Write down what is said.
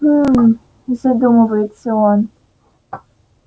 хмм задумывается он